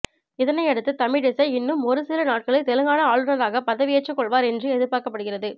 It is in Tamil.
இதனையடுத்து தமிழிசை இன்னும் ஒருசில நாட்களில் தெலுங்கானா ஆளுனராக பதவியேற்றுக்கொள்வார் என்று எதிர்பார்க்கப்படுகிறது